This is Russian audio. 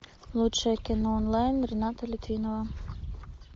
лучшее кино онлайн рената литвинова